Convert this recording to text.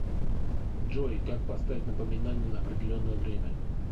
джой как поставить напоминание на определенное время